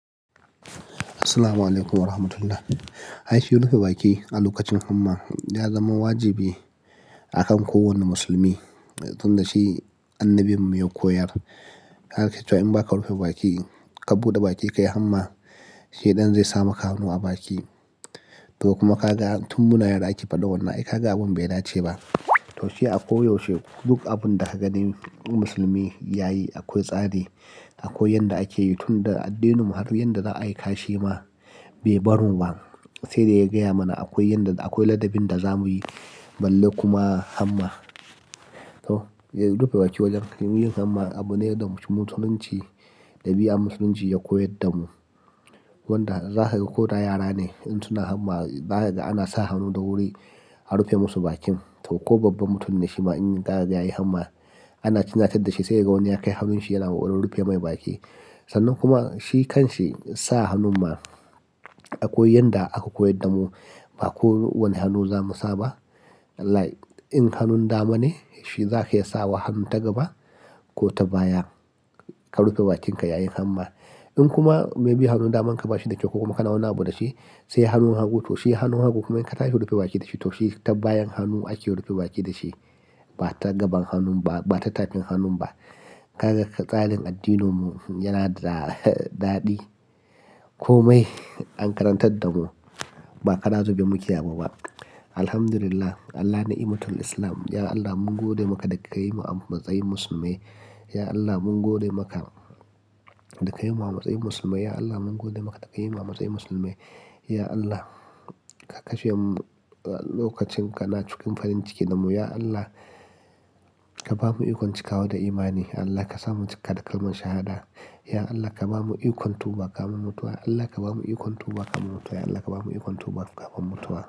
Assalamualaikum warahmatullahi. Hai shi rufe baki a lokacin hamma ya zama wajibi a kan kowane musulmi, tun da shi annabi mu ya koyar. Haka ake cewa in ba ka rufe baki, ka buɗe baki ka yi hamma, shaiɗan zai sa maka hannu a baki. To kuma ka ga tun mun yara ake faɗa wannan, ai ka ga abin bai dace ba. To shi a ko yaushe duk abin da ka gani in musulmi ya yi akwai tsari. Akwai yanda ake yi tun da addininmu har yanda za a yi kashi ma bai bar mu ba. Sai da ya gaya mana akwai yanda, akwai ladabin da za mu yi balle kuma hamma. To, ya rufe baki wajen yin hamma abu ne da musulunci, ɗabi'a musulunci ya koyar da mu. Wanda za ka ga ko da yara ne in suna hamma, za ka ga ana sa hannu da wuri a rufe musu bakin. To ko babban mutum ne shi ma in ya yi hamma ana runatadda shi, sai ka ga wani ya kai hannun shi yana kolarin rufe mai baki. Sannan kuma, shi kan shi sa hannun ma akwai yanda aka koyar da mu ba kowane hannu za mu sa ba. Like in hannun dama ne shi za ka iya sawa hannun ta gaba, ko ta baya, ka rufe bakinka yayin hamma. In kuma maybe hannun daman ka ba shi da kyau ko kuma ka nauna abun da shi, sai hannun hagu. To shi hannun hagu kuma in ka tashi rufe baki da shi, to shi ta bayan hannu ake rufe baki da shi. Ba ta gaban hannun ba, ba ta takin hannun ba. Gaka tsarin addininmu yana da ɗaɗi komai an karantar da mu ba karazube muke abu ba. Alhamdulillah, Allah ni'imatul Islam. Ya Allah mun gode maka da ka yi mu a matsayin musulmai. Ya Allah mun gode maka da ka yi mu a matsayin musulmai. Ya Allah mun gode maka da ka yi mu a matsayin musulmai. Ya Allah, ka kashe mu lokacin ka na cikin farin ciki da mu. Ya Allah, ka bamu ikon cikawa da imani. Allah ka sa mu cika da kalman shahada. Ya Allah ka bamu ikon tuba kafin mutuwa. Allah ka bamu ikon tuba kafin mutuwa. Ya Allah ka bamu ikon tuba kafin mutuwa.